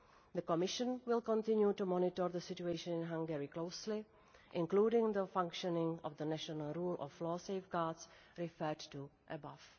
met. The Commission will continue to monitor the situation in Hungary closely, including the functioning of the national rule of law safeguards referred to above.